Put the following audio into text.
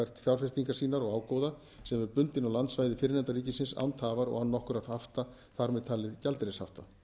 yfirfært fjárfestingar sínar og ágóða sem er bundinn á landsvæði fyrrnefnda ríkisins án tafar og án nokkurra hafta þar með talið gjaldeyrishafta